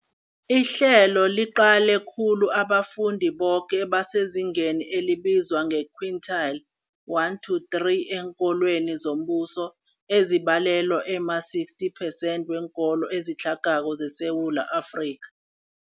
Ihlelo liqale khulu abafundi boke abasezingeni elibizwa nge-quintile 1-3 eenkolweni zombuso, ezibalelwa ema-60 percent weenkolo ezitlhagako zeSewula Afrika.